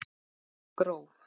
Gróf